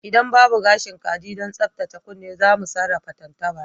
Idan babu gashin kaji don tsaftace kunne za mu sarrafa tantabara